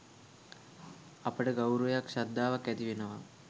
අපට ගෞරවයක් ශ්‍රද්ධාවක් ඇතිවෙනවා